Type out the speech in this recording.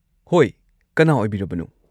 ꯍꯣꯏ꯫ ꯀꯅꯥ ꯑꯣꯏꯕꯤꯔꯕꯅꯣ?